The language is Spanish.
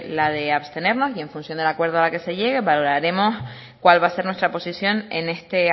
la de abstenernos y en función al acuerdo al que se llegue valoraremos cuál va a ser nuestra posición en este